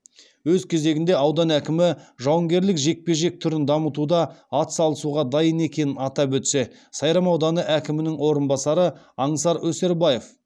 өз кезегінде аудан әкімі жауынгерлік жекпе жек түрін дамытуда атсалысуға дайын екенін атап өтсе сайрам ауданы әкімінің орынбасары аңсар өсербаев